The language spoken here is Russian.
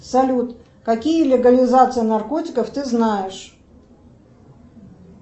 салют какие легализации наркотиков ты знаешь